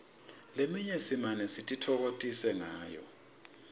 leminye simane sititfokotise ngayo